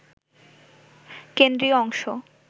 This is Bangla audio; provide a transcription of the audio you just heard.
কেন্দ্রীয় অংশ